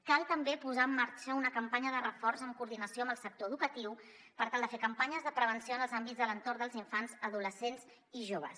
cal també posar en marxa una campanya de reforç en coordinació amb el sector educatiu per tal de fer campanyes de prevenció en els àmbits de l’entorn dels infants adolescents i joves